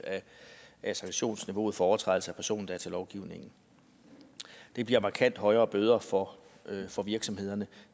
af sanktionsniveauet for overtrædelse af persondatalovgivningen det bliver markant højere bøder for for virksomhederne